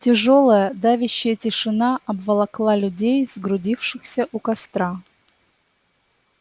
тяжёлая давящая тишина обволокла людей сгрудившихся у костра